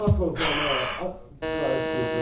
Ana torpağıma qayıdıb gedəcəm.